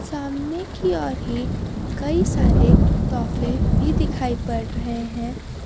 सामने कि ओर ही कई सारे तौफे भी दिखाई पड़ रहे हैं।